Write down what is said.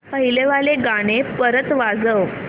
पहिलं वालं गाणं परत वाजव